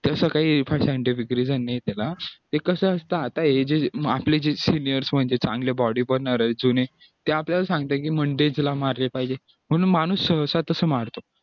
तसं काही फार scientific reason नाही त्याला ते कसं असतं आता हे जे आपले जे seniors म्हणजे चांगले body जुने हे आपल्याला सांगतो की mondays मारले पाहिजे पण माणूस साथच मारतो